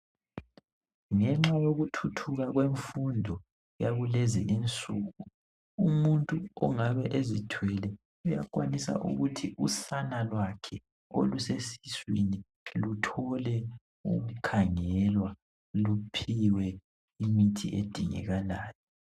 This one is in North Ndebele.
Ngenxa yokuthuthu kwakulezi insuku umuntu oyabe ezithwele usana lwakhe olusesiswini luthole ukukhangelwa luphiwe imithi edingakalayo